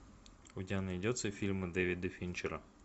у тебя найдется фильмы дэвида финчера